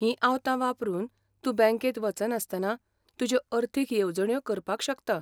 हीं आवतां वापरून तूं बँकेंत वचनासतना तुज्यो अर्थीक येवजण्यो करपाक शकता.